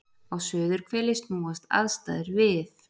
Á suðurhveli snúast aðstæður við.